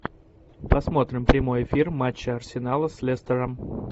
посмотрим прямой эфир матча арсенала с лестером